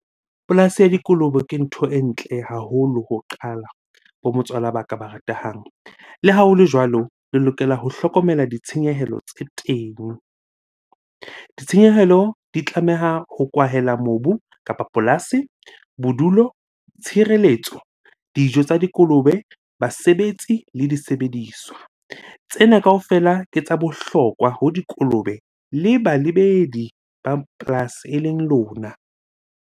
Polasi ya dikolobe ke ntho e ntle haholo ho qala bo motswala ba ka ba ratehang. Le ha hole jwalo, le lokela ho hlokomela ditshenyehelo tse teng. Ditshenyehelo di tlameha ho kwahela mobu kapa polasi, bodulo, tshireletso, dijo tsa dikolobe, basebetsi le disebediswa. Tsena kaofela ke tsa bohlokwa ho dikolobe le balebedi ba polasi eleng lona.